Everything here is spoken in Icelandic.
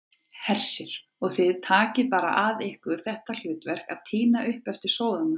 Hersir: Og þið bara takið að ykkur þetta hlutverk að tína upp eftir sóðana?